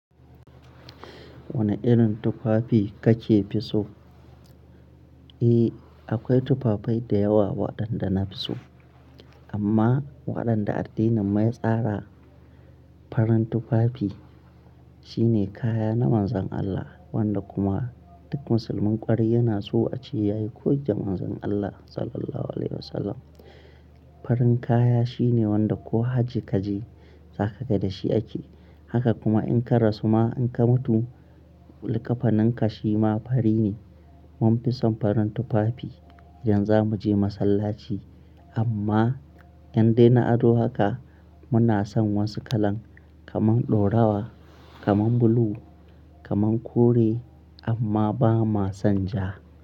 Wane irin tufafi kake fi so? Eh, akwai tufafen da yawa waɗanda na fi so. Amma waɗanda addinin mai tsara farin tufafi shine kaya na Manzon Allah, wanda kuma duk musulmin ƙwarai yana so a ce yayi koyi da Manzon Allah Sallallahu Alaihi Wasallam. Farin kaya shine wanda ko hajji kaje, saƙaka dashi ake. Haka kuma in ka rasu ma in ka mutu, likkafaninka shi ma fari ne. Mun fi son farin tufafi idan za mu je masallaci. Amma in de na ado haka, muna son wasu kalan kamar dorawa, kamar blue, kamar kore, amma ba mua son ja.